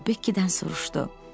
O Bekkidən soruşdu: